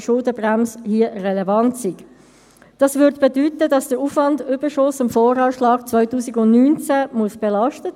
Wir haben in diesem Jahr leider nicht immer davon ausgehen können, ich komme noch darauf zurück.